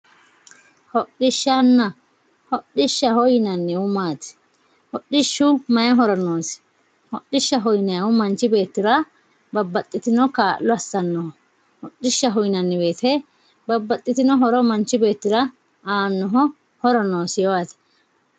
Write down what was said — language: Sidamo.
Hodhishshanna, hodhishshaho yinannihu maati, hodhishshu maayi horo noosi, hodhishshaho yinannihu manchi beettira babbaxxitino kaa'lo assanoho ,hodhishshaho yinanni woyte babbaxxitino manchi beettira aanoho horo noosiho yaate.